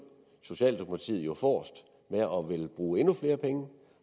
socialdemokratiet forrest og ville bruge endnu flere penge